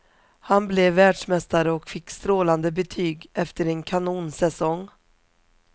Han blev världsmästare och fick strålande betyg efter en kanonsäsong.